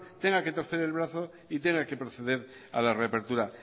tenga que torcer el brazo y tenga que proceder a la reapertura